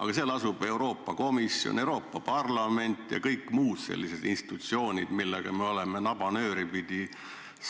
Aga seal asuvad Euroopa Komisjon, Euroopa Parlament ja kõik muud sellised institutsioonid, millega me oleme nabanööri pidi